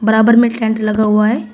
यहां पर में टेंट लगा हुआ है।